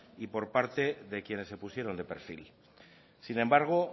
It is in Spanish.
y por parte de quienes se pusieron de perfil sin embargo